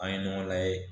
An ye ɲɔgɔn layɛ